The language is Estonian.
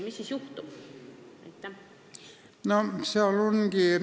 Mis siis juhtub?